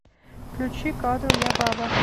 включи кадр я баба